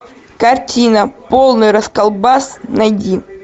картина полный расколбас найди